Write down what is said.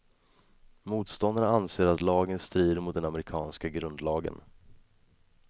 Motståndarna anser att lagen strider mot den amerikanska grundlagen.